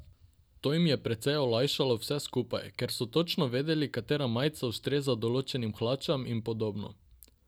To jim je precej olajšalo vse skupaj, ker so točno vedeli, katera majica ustreza določenim hlačam in podobno.